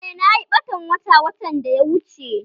Eh, nayi ɓatan wata watan da ya wuche